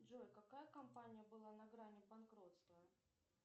джой какая компания была на грани банкротства